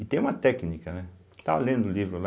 E tem uma técnica, né está lendo o livro lá,